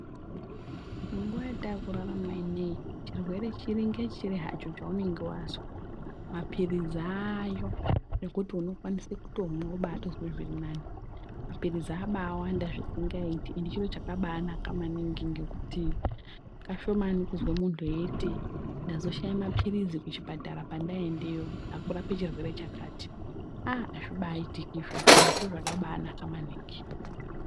Munguwa yetaakurarama inei chirwere chiri ngechiri hacho chaunenge wazwa mapirizi aayo nekuti unokwanise kutomwa wobaatozwe zvirinani. Mapirizi abaawanda zvisingaiti endi chiro chakabaanaka maningi ngekuti kashomani kuzwe muntu eiti ndazoshaya mapirizi kuchipatara pendaendeyo ekurape chirwere chakati. Aaa!, azvibaaitiki izvozvo endi zviro zvakabaanaka maningi.